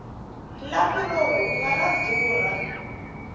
lapi ro rhunga ra durha